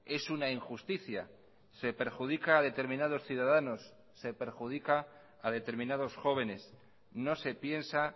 es una injusticia se perjudica a determinados ciudadanos se perjudica a determinados jóvenes no se piensa